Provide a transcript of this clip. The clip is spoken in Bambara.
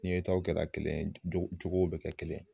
Ni ye taw kɛ la kelen ye, jogow be kɛ kelen ye.